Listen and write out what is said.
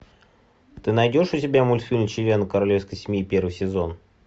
ты найдешь у себя мультфильм члены королевской семьи первый сезон